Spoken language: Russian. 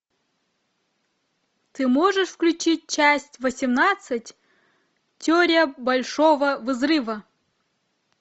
ты можешь включить часть восемнадцать теория большого взрыва